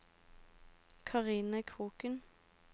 Karine Kroken